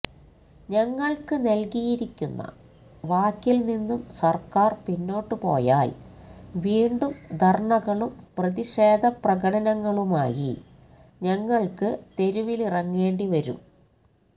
ഞങ്ങള്ക്ക് നല്കിയിരിക്കുന്ന വാക്കില് നിന്നും സര്ക്കാര് പിന്നോട്ടുപോയാല് വീണ്ടും ധര്ണകളും പ്രതിഷേധ പ്രകടനങ്ങളുമായി ഞങ്ങള്ക്ക് തെരുവിലിറങ്ങേണ്ടി വരും